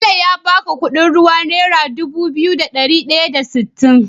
Bello ya baka Ƙudin ruwan naira Dubu biyu da dari daya da sitin?